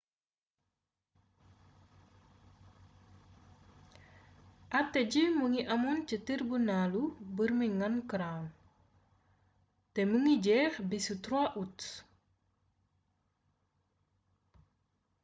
ate gi mu ngi amoon ca tirbinaalu birmingham crown te mu ngi jeex bisu 3 ut